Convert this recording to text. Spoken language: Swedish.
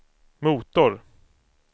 motor